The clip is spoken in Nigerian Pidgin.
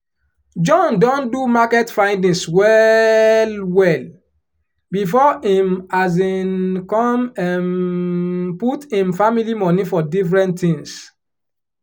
john don do market findings well well before him um come um put him family money for different things